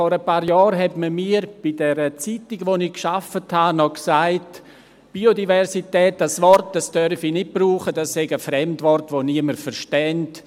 Vor ein paar Jahren hat man mir bei der Zeitung, bei der ich gearbeitet habe, gesagt, ich dürfe das Wort «Biodiversität» nicht benutzen, das sei ein Fremdwort, das niemand verstünde.